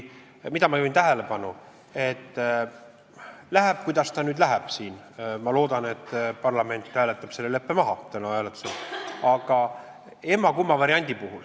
Ma juhin tähelepanu, et läheb siin, kuidas ta läheb – mina loodan, et parlament hääletab täna selle leppe maha –, meil on siis emb-kumb variant.